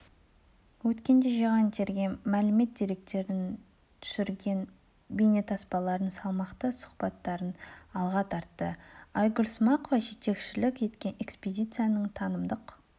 өткенде жиған-терген мәлімет-деректерін түсірген бейнетаспаларын салмақты сұхбаттарын алға тартты айгүл смақова жетекшілік еткен экспедицияның танымдық